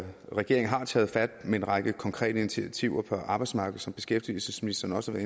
regeringen har taget fat med en række konkrete initiativer på arbejdsmarkedet som beskæftigelsesministeren også har